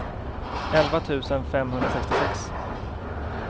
elva tusen femhundrasextiosex